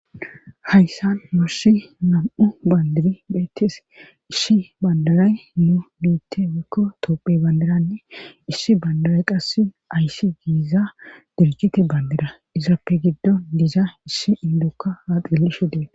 hayssan mursi nam7u bandiri beettes isshi bandaray nu miitte weekko toophe bandaranne issi bandaray qass ayssi giiza dirikite bandira izaappe giddon diiza issi indokka haaxillishu dee